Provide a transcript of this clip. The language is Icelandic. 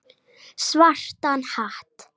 Svartan hatt.